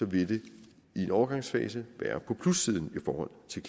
vil det i en overgangsfase være på plussiden i forhold til